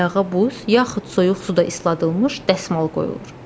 Ayağa buz, yaxud soyuq suda isladılmış dəsmal qoyulur.